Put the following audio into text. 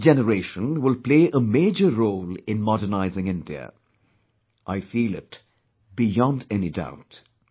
This generation will play a major role in modernizing India; I feel it beyond any doubt